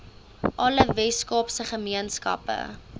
alle weskaapse gemeenskappe